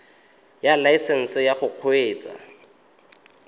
ya laesesnse ya go kgweetsa